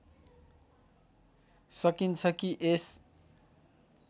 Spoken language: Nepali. सकिन्छ कि यस